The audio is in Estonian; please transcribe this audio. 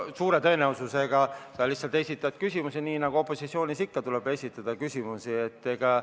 Suure tõenäosusega esitad sa lihtsalt küsimusi, nii nagu opositsioonis olles ikka tuleb küsimusi esitada.